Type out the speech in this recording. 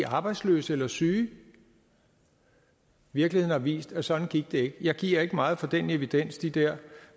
arbejdsløse eller syge virkeligheden har vist at sådan gik det ikke jeg giver ikke meget for den evidens de der